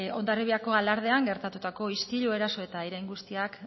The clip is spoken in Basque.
hondarribiako alardean gertatutako istilu eraso eta irain guztiak